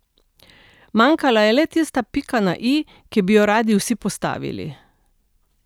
Manjkala je le tista pika na i, ki bi jo radi vsi postavili.